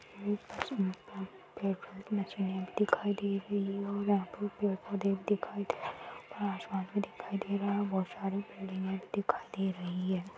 आची photo दिखाई दे रही है और यह पे पेड़-पौधे भी दिखाई दे रहे है ऊपर आसमान भी दिखाई दे रहा है बहुत सारे पेड़ भी दिखाई दे रही है।